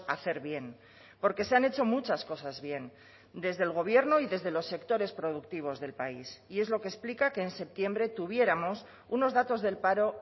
hacer bien porque se han hecho muchas cosas bien desde el gobierno y desde los sectores productivos del país y es lo que explica que en septiembre tuviéramos unos datos del paro